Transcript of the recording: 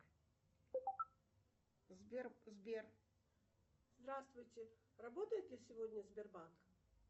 салют давай соберем голос